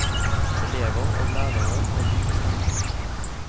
Elever og lærere har lik stemme.